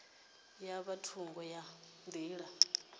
ya nga thungo ha nḓila